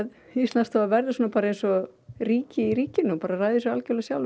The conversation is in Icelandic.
Íslandsstofa verður eins og ríki í ríkinu ræður sér algjörlega sjálf